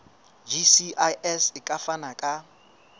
gcis e ka fana ka